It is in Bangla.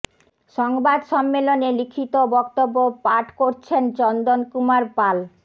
সংবাদ সম্মেলনে লিখিত বক্তব্য পাঠ করছেন চন্দন কুমার পাল